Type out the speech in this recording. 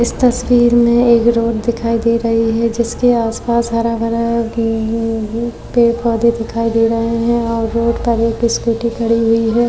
इस तस्वीर में एक रोड दिखाई दे रही है जिसके आसपास हरा-भरा है। पेड़-पौधे दिखाई दे रहे हैं और रोड पर एक स्कूटी खड़ी हुई है।